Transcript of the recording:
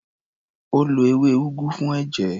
Ó lo ewé úgú fún ẹ̀jẹ̀.